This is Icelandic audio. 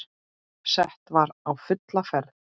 Sett var á fulla ferð.